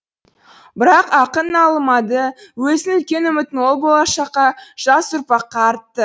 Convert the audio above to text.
бірақ ақын налымады өзінің үлкен үмітін ол болашаққа жас ұрпаққа артты